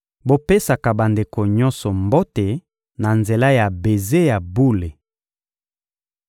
Bopesaka bandeko nyonso mbote na nzela ya beze ya bule.